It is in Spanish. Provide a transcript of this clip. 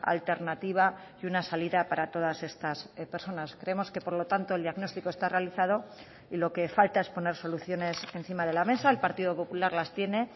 alternativa y una salida para todas estas personas creemos que por lo tanto el diagnóstico está realizado y lo que falta es poner soluciones encima de la mesa el partido popular las tiene